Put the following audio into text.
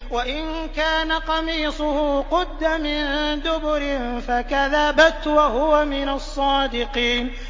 وَإِن كَانَ قَمِيصُهُ قُدَّ مِن دُبُرٍ فَكَذَبَتْ وَهُوَ مِنَ الصَّادِقِينَ